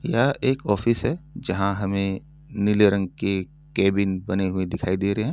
यह एक ऑफिस है जहाँ हमे नीले रंग की केबिन बने हुई दिखाई दी रही है।